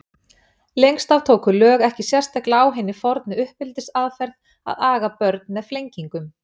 Lengst af tóku lög ekki sérstaklega á hinni fornu uppeldisaðferð að aga börn með flengingum.